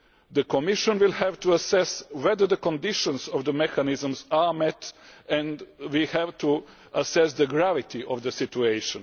The Commission will have to assess whether the conditions of the mechanisms are met and we have to assess the gravity of the situation.